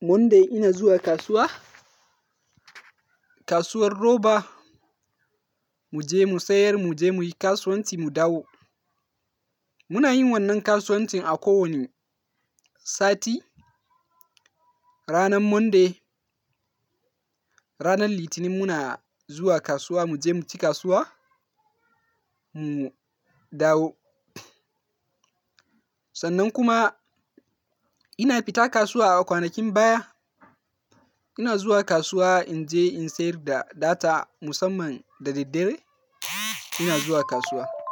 Monday ina zuwa kasuwa, kasuwar Roba mu je mu sayar mu je muyi kasuwanci mu dawo. Muna yin wannan kasuwancin a kowane sati. Ranar Monday, ranar Litinin muna zuwa kasuwa mu je mu ci kasuwa, mu dawo. Sannan kuma ina fita kasuwa a kwanakin baya. Ina zuwa kasuwa in je in sayar da data musamman da daddare, ina zuwa kasuwa.